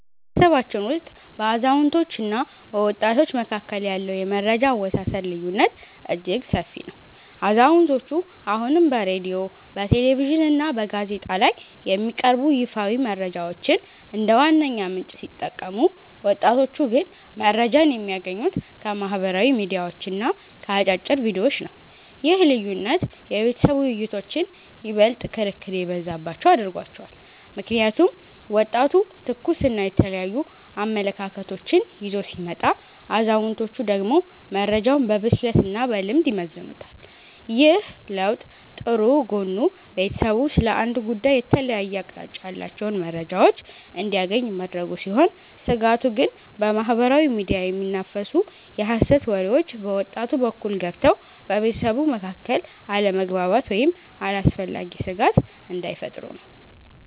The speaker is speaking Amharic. በቤተሰባችን ውስጥ በአዛውንቶችና በወጣቶች መካከል ያለው የመረጃ አወሳሰድ ልዩነት እጅግ ሰፊ ነው። አዛውንቶቹ አሁንም በሬድዮ፣ በቴሌቪዥንና በጋዜጣ ላይ የሚቀርቡ ይፋዊ መረጃዎችን እንደ ዋነኛ ምንጭ ሲጠቀሙ፣ ወጣቶቹ ግን መረጃን የሚያገኙት ከማኅበራዊ ሚዲያዎችና ከአጫጭር ቪዲዮዎች ነው። ይህ ልዩነት የቤተሰብ ውይይቶችን ይበልጥ ክርክር የበዛባቸው አድርጓቸዋል። ምክንያቱም ወጣቱ ትኩስና የተለያዩ አመለካከቶችን ይዞ ሲመጣ፣ አዛውንቶቹ ደግሞ መረጃውን በብስለትና በልምድ ይመዝኑታል። ይህ ለውጥ ጥሩ ጎኑ ቤተሰቡ ስለ አንድ ጉዳይ የተለያየ አቅጣጫ ያላቸውን መረጃዎች እንዲያገኝ ማድረጉ ሲሆን፤ ስጋቱ ግን በማኅበራዊ ሚዲያ የሚናፈሱ የሐሰት ወሬዎች በወጣቱ በኩል ገብተው በቤተሰቡ መካከል አለመግባባት ወይም አላስፈላጊ ስጋት እንዳይፈጥሩ ነው።